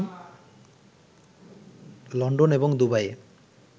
London এবং দুবাইয়ে